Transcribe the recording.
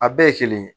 A bɛɛ ye kelen